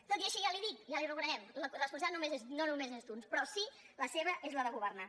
tot i així ja li ho dic ja li ho reconeixem la responsabilitat no només és d’uns però sí que la seva és la de governar